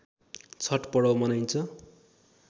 छठ पर्व मनाइन्छ